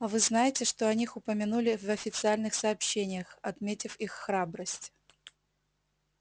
а вы знаете что о них упомянули в официальных сообщениях отметив их храбрость